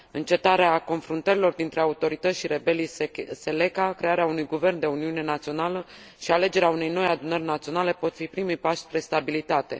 Încetarea confruntărilor dintre autorități și rebelii Seleka, crearea unui guvern de uniune națională și alegerea unei noi adunări naționale pot fi primii pași spre stabilitate.